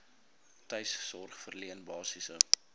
tuissorg verleen basiese